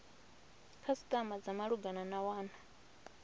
khasitama dza malugana na wana